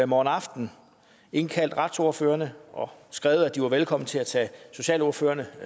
morgen aften indkaldt retsordførerne og skrevet at de var velkomne til at tage socialordførerne